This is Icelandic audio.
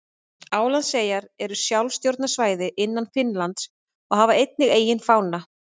Álandseyjar eru sjálfstjórnarsvæði innan Finnlands og hafa einnig eigin fána.